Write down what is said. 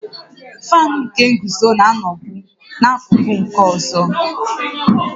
Faanụ nke nguzo na-anọbu n'akụkụ nke ọzọ